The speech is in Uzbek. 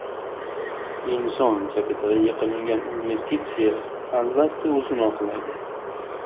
Inson kapitaliga qilingan investitsiya albatta o‘zini oqlaydi.